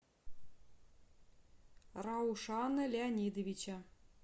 раушана леонидовича